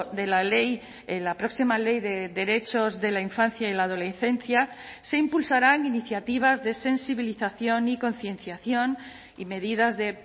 de la ley en la próxima ley de derechos de la infancia y la adolescencia se impulsarán iniciativas de sensibilización y concienciación y medidas de